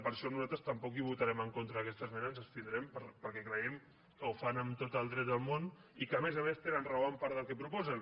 per això nosaltres tampoc votarem en contra d’aquesta esmena ens abstindrem perquè creiem que ho fan amb tot el dret del món i que a més a més tenen raó en part del que proposen